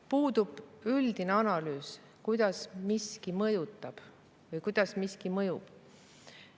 Puudub üldine analüüs, kuidas miski mõjutab või kuidas miski mõjub.